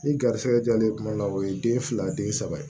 Ni garisɛgɛ jalen tuma la o ye den fila den saba ye